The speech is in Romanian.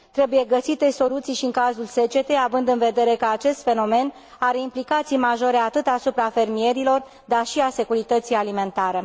Trebuie găsite soluții și în cazul secetei, având în vedere că acest fenomen are implicații majore atât asupra fermierilor, cât și asupra securității alimentare.